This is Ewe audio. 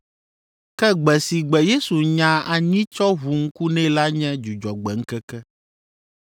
Ke gbe si gbe Yesu nya anyi tsɔ ʋu ŋku nɛ la nye Dzudzɔgbe ŋkeke.